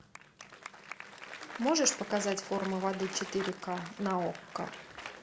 можешь показать форма воды четыре ка на окко